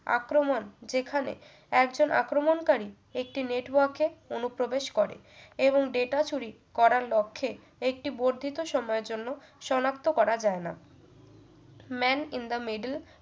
আক্রমণ যেখানে একজন আক্রমনকারী একটি network কে অনুপ্রবেশ করে এবং data চুরি করার লক্ষ্যে একটি বর্ধিত সময়ের জন্য সনাক্ত করা যায়না man in the middle